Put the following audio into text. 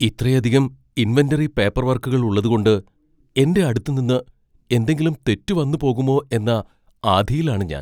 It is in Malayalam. ഇത്രയധികം ഇൻവെന്ററി പേപ്പർവർക്കുകൾ ഉള്ളതുകൊണ്ട് എൻ്റെ അടുത്ത് നിന്ന് എന്തെങ്കിലും തെറ്റ് വന്ന് പോകുമോ എന്ന ആധിയിലാണ് ഞാൻ.